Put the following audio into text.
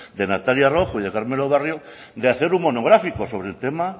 de natalia rojo y de carmelo barrio de hacer un monográfico sobre el tema